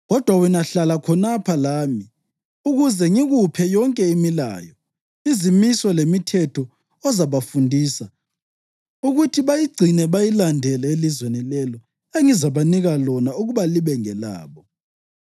Kodwa wena hlala khonapha lami ukuze ngikuphe yonke imilayo, izimiso lemithetho ozabafundisa ukuthi bayigcine bayilandele elizweni lelo engizabanika lona ukuba libe ngelabo.’